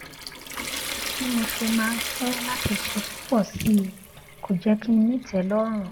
bí mo ṣe máa ń fé láti ṣe púpò sí i kò jé kí n ní ìtélórùn